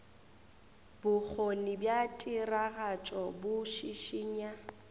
bokgoni bja tiragatšo bo šišinya